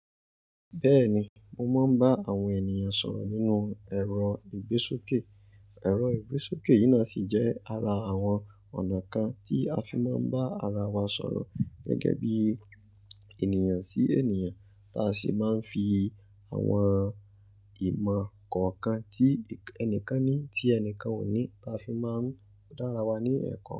Bẹ́ẹ̀ni, mo máa ń bá àwọn ènìyàn sọ̀rọ̀ nínú ẹ̀rọ ìgbésókè. Ẹ̀rọ ìgbésókè yìí náà sì jẹ́ ara àwọn ọ̀nà kan tí a fi máa ń bá ara wa sọ̀rọ̀ gẹ́gẹ́ bí ènìyàn sí ènìyàn, táa sì máa ń fi àwọn ìmọ̀ kọ̀ọ̀kan tí ẹnìkan ní tí ẹnìkan ò ní táa fi máa ń dára wa ní ẹ̀kọ́